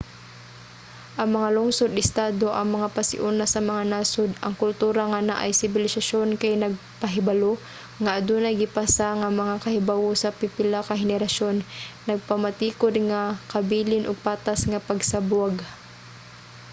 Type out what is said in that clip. ang mga lungsod-estado ang mga pasiuna sa mga nasod. ang kultura nga naay sibilisasyon kay nagpahibalo nga adunay gipasa nga mga kahibawo sa pipila ka henerasyon nagpamatikud nga kabilin ug patas nga pagsabwag